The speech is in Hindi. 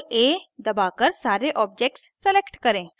ctrl + a दबाकर सारे objects select करें